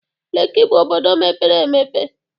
Leki bụ obodo mepere emepe.